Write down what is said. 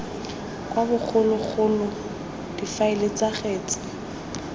wa bogologolo difaele tsa kgetse